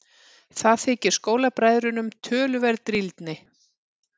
Það þykir skólabræðrunum töluverð drýldni.